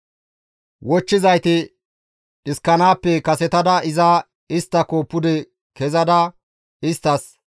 Wochchizayti dhiskanaappe kasetada iza isttako pude kezada isttas,